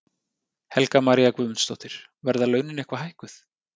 Helga María Guðmundsdóttir: Verða launin eitthvað hækkuð?